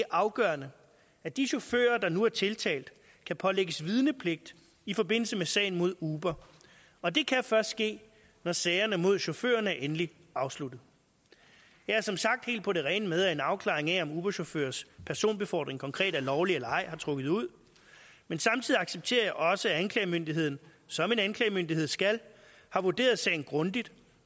afgørende at de chauffører der nu er tiltalt kan pålægges vidnepligt i forbindelse med sagen mod uber og det kan først ske når sagerne mod chaufførerne er endeligt afsluttet jeg er som sagt helt på det rene med at en afklaring af om uberchaufførers personbefordring konkret er lovlig eller ej har trukket ud men samtidig accepterer jeg også at anklagemyndigheden som en anklagemyndighed skal har vurderet sagen grundigt